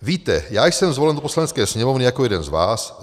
"Víte, já jsem zvolen do Poslanecké sněmovny jako jeden z vás.